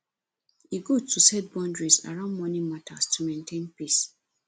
e good to set boundaries around money matters to maintain peace